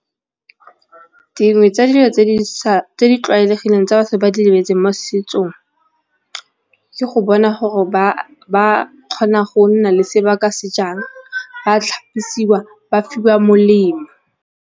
Dingwe tsa dilo tse di tlwaelegileng tsa batho ba di lebeletseng mo setsong ke go bona gore ba kgona go nna le se ba ka se jang ba tlhapisiwa ba fiwa molemo.